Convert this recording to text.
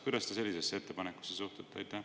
Kuidas te sellisesse ettepanekusse suhtute?